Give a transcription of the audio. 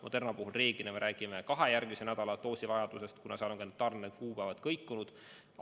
Moderna puhul me reeglina räägime kahe järgmise nädala doosivajadusest, kuna tarnekuupäevad on kõikunud.